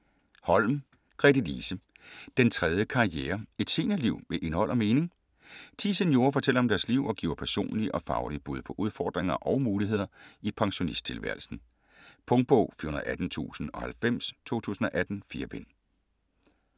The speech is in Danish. Holm, Gretelise: Den tredje karriere: et seniorliv med indhold og mening Ti seniorer fortæller om deres liv og giver personlige og faglige bud på udfordringer og muligheder i pensionisttilværelsen. Punktbog 418090 2018. 4 bind.